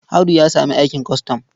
Audu ya samu aikin kwastam.